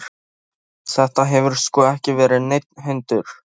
Nei, nei, þetta hefur sko ekki verið neinn hundur.